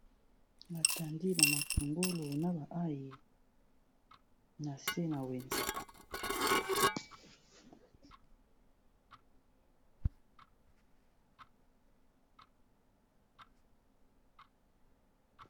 Batandi bamatungolo na ayi na se na wenze.